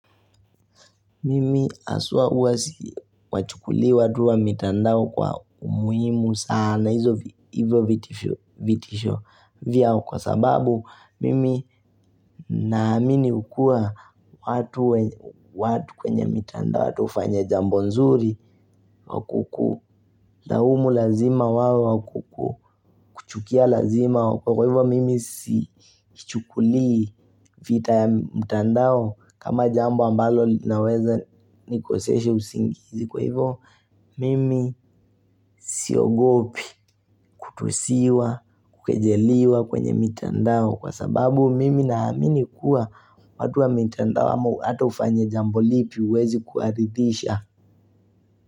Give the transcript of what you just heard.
Mimi haswa huwa siwachukulii watu wa mitandao kwa umuhimu sana hivyo vitisho vyao kwa sababu Mimi naamini kuwa watu kwenye mitandao watu ufanya jambo nzuri wa kukulaumu lazima wawe wa kukukuchukia lazima Kwa hivyo mimi sikichukulii vita ya mtandao kama jambo ambalo linaweza nikosesha usingizi Kwa hivyo mimi siogopi kutusiwa, kukejeliwa kwenye mitandao Kwa sababu mimi naamini kuwa watu wa mitandao hata ufanye jambo lipi huwezi kuwaridhisha.